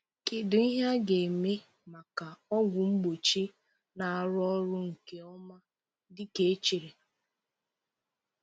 Kedu ihe a ga-eme maka ọgwụ mgbochi na-arụ ọrụ nke ọma dịka e chere?